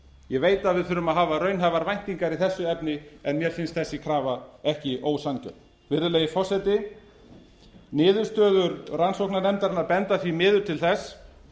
ég veit að við þurfum að hafa raunhæfar væntingar í þessu efni en mér finnst þessi krafa ekki ósanngjörn virðulegi forseti niðurstöður rannsóknarnefndarinnar benda því miður til þess